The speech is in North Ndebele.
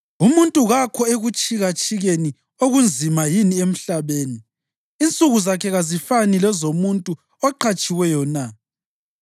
“Umuntu kakho ekutshikatshikeni okunzima yini emhlabeni? Insuku zakhe kazifani lezomuntu oqhatshiweyo na?